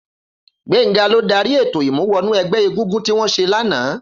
Gbenga ló dàrí étó imú wọnú ẹgbẹ égúngún tiwọn ṣé làná